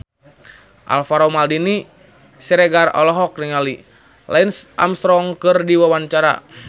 Alvaro Maldini Siregar olohok ningali Lance Armstrong keur diwawancara